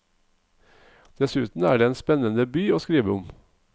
Dessuten er det en spennende by å skrive om.